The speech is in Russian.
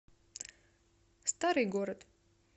старый город